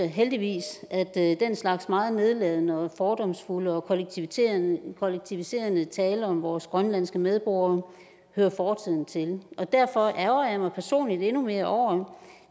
heldigvis at den slags meget nedladende og fordomsfulde og kollektiviserende kollektiviserende tale om vores grønlandske medborgere hører fortiden til og derfor ærgrer jeg mig personligt endnu mere over